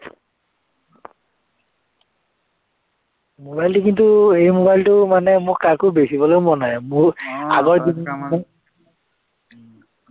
mobile টো কিন্তু এই mobile টো মানে মোৰ কাকো বেচিবলে মন নাই